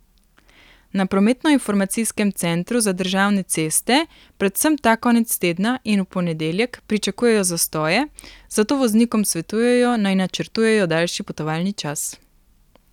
Na Prometnoinformacijskem centru za državne ceste predvsem ta konec tedna in v ponedeljek pričakujejo zastoje, zato voznikom svetujejo, naj načrtujejo daljši potovalni čas.